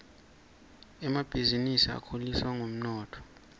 emabhisinisi akhuliswa ngumnotfo